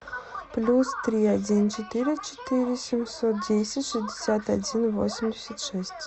плюс три один четыре четыре семьсот десять шестьдесят один восемьдесят шесть